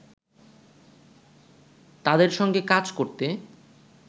তাদের সঙ্গে কাজ করতে